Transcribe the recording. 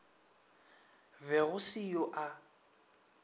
be go se yo a